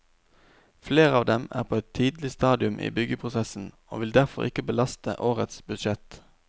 Flere av dem er på et tidlig stadium i byggeprosessen og vil derfor ikke belaste årets budsjett.